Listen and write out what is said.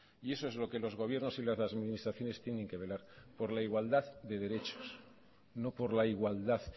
y eso es lo que los gobiernos y las administraciones tienen que velar por la igualdad de derechos no por la igualdad